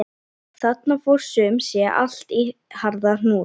Þarna fór sum sé allt í harða hnút.